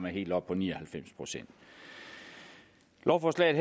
helt oppe på ni og halvfems procent lovforslaget